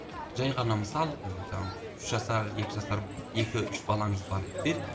жай ғана мысал ы жаңағы үш жасар екі жасар екі үш балаңыз бар еді делік